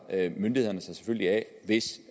myndighederne sig selvfølgelig af hvis